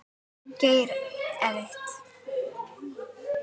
Geir Evert.